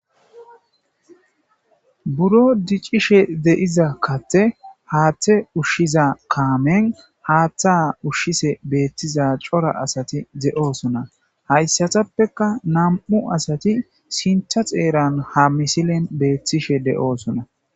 Buro diccishe deiza katte haaththe ushshiza kaamen haaththa ushshise beettiza cora asati de7oosona hayssatappeka nam7u asati sinta xeeran ha misilen beettishe de7oosona